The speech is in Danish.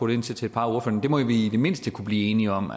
ind til til et par af ordførerne må vi i det mindste kunne blive enige om